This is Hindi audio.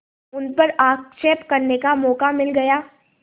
उन पर आक्षेप करने का मौका मिल गया